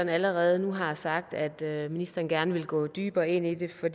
allerede nu har sagt at ministeren gerne vil gå dybere ind i det for